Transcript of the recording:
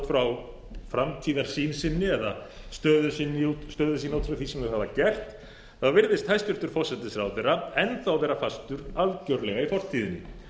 frá framtíðarsýn sinni og stöðu sína út frá því sem þeir hafa gert þá virðist hæstvirtur forsætisráðherra enn þá vera algerlega fastur í fortíðinni